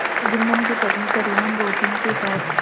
जुम्मन की पत्नी करीमन रोटियों के साथ